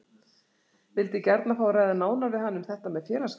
Vildi gjarna fá að ræða nánar við hann um þetta með félagsgjaldið.